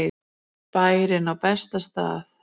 Bærinn á besta stað